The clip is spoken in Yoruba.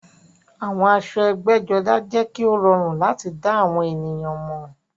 Àwọn aṣọ ẹgbẹ́jọdá jẹ́ kí ó rọrùn láti dá àwọn ènìyàn mọ̀